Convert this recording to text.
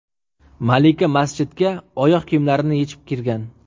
Malika masjidga oyoq kiyimlarini yechib kirgan.